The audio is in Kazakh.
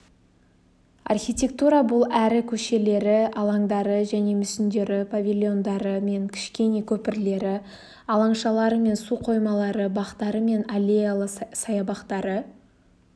архитектура бұл әрі көшелері алаңдары және мүсіндері павильондары мен кішкене көпірлері алаңшалары мен суқоймалары бақтары мен аллеялы саябақтары